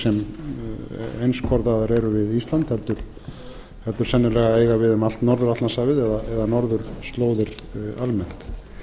sem einskorðaðar eru við ísland heldur sennilega eigi við um allt norður atlantshafið eða norðurslóðir almennt